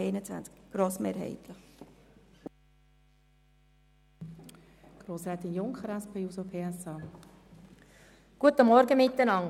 Aber wir sind grossmehrheitlich nicht gegen den Lehrplan 21.